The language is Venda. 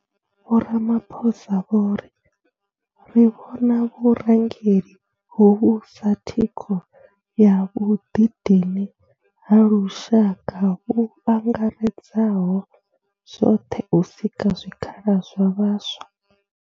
Vho Ramaphosa vho ri ri vhona vhurangeli hovhu sa thikho ya vhuḓidini ha lushaka vhu angaredzaho zwoṱhe u sika zwikhala zwa vhaswa.